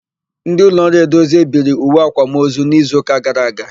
Ndị ụlọọrụ Edozie biri uwe àkwámozu n'izuụka gara aga.